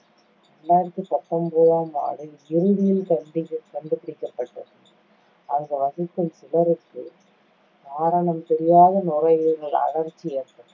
இரண்டாயிரத்தி பத்தொன்பதாம் ஆண்டின் இறுதியில் கண்டிபி~ கண்டுபிடிக்கப்பட்டது. அங்கு வசிக்கும் சிலருக்கு, காரணம் தெரியாத நுரையீரல் அழற்சி ஏற்பட்டது.